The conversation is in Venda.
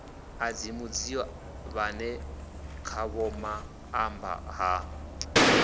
ḓadzi mudzio vhane khavhomaṱamba ha